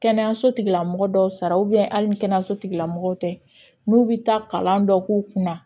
Kɛnɛyaso tigila mɔgɔ dɔw sara hali ni kɛnɛyaso tigilamɔgɔw tɛ n'u bi taa kalan dɔ k'u kunna